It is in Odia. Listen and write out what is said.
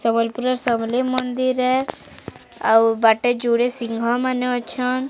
ସମଲପୁର ର ସମଲେଇ ମନ୍ଦିର ଏ ଆଉ ବାଟେ ଜୁଡେ ସିଂଘ ମାନେ ଅଛନ୍।